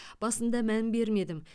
басында мән бермедім